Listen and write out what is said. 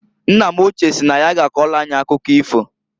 Nna m ochie si na ya ga akọlụ anyị akụkọ ifo.